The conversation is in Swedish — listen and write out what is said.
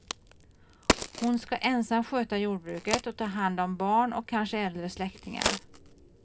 Hon ska ensam sköta jordbruket och ta hand om barn och kanske äldre släktingar.